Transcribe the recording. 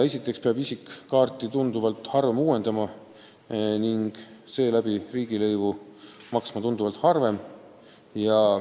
Esiteks peab isik kaarti tunduvalt harvem uuendama ja seega ka tunduvalt harvem riigilõivu maksma.